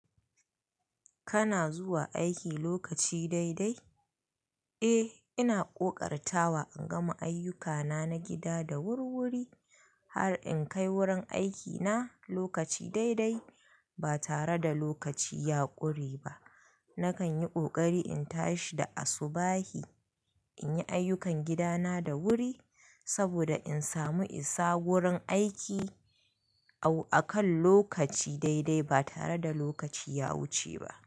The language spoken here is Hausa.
Kana zuwa aiki lokaci daidai? Eh, ina ƙoƙartawa in gama ayyukana na gida da wurwuri har in kai wurin aikina lokaci daidai ba tare da lokaci ya ƙure ba. Nakan yi ƙoƙari in tashi da asubahi in yi ayyukan gidana da wuri saboda in samu isa wurin aiki a kan lokaci daidai ba tare da lokaci ya wuce ba.